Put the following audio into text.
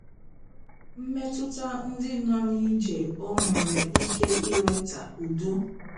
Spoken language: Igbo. Mmetụta ndị nọ n'ije o nwere ike iweta udo?